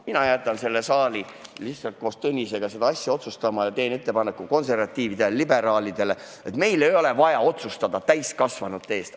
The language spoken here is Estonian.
Mina jätan selle saali koos Tõnisega seda asja otsustama ja teen konservatiividele ja liberaalidele ettepaneku: meil ei ole vaja otsustada täiskasvanute eest.